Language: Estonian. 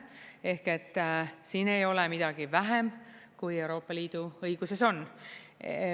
Ehk siin ei ole midagi vähem kui Euroopa Liidu õiguses on.